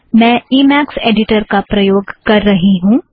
मैं Emacs editor का प्रयोग कर रही हूँ